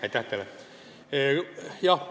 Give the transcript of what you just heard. Aitäh teile!